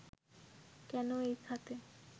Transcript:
কেন এই খাতে